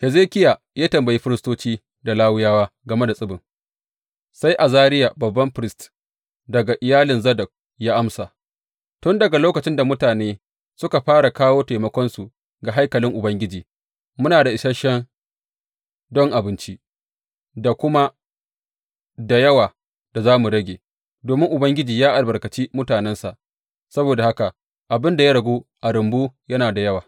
Hezekiya ya tambayi firistoci da Lawiyawa game da tsibin; sai Azariya babban firist, daga iyalin Zadok ya amsa, Tun daga lokacin da mutane suka fara kawo taimakonsu ga haikalin Ubangiji, muna da isashe don abinci da kuma da yawa da za mu rage, domin Ubangiji ya albarkaci mutanensa, saboda haka abin da ya ragu a rumbu yana da yawa.